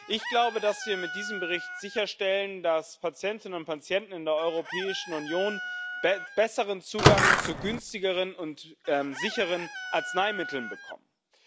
Ich glaube, dass wir mit diesem Bericht sicherstellen, dass Patientinnen und Patienten in der Europäischen Union besseren Zugang zu günstigeren und sicheren Arzneimitteln bekommen.